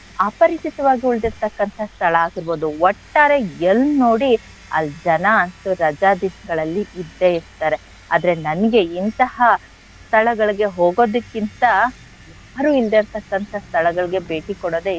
ಅಪರಿಚಿತವಾಗಿ ಉಳ್ದಿರ್ತಕ್ಕಂಥ ಸ್ಥಳ ಆಗಿರ್ಬೋದು ಒಟ್ಟಾರೆ ಎಲ್ ನೋಡಿ ಅಲ್ ಜನ ಅಂತೂ ರಜಾ ದಿಸ್ಗಳಲ್ಲಿ ಇದ್ದೇ ಇರ್ತಾರೆ ಆದ್ರೆ ನನ್ಗೆ ಇಂತಹ ಸ್ಥಳಗಳಿಗೆ ಹೋಗೋದಕ್ಕಿಂತಾ ಯಾರು ಇಲ್ದೆ ಇರ್ತಕ್ಕಂಥ ಸ್ಥಳಗಳಿಗೆ ಭೇಟಿ ಕೋಡೊದೆ,